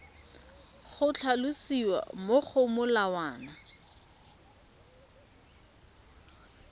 go tlhalosiwa mo go molawana